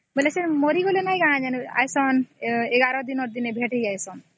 ସେ ଯୋଉ ମରିଯାଇନଥିଲେ ୧୧ ଦିନ ଦେଖା ହେଇଥିଲେ